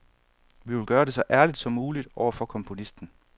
Vi vil gøre det så ærligt som muligt over for komponisten.